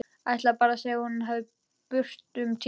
Ætlar bara að segja að hún fari burt um tíma.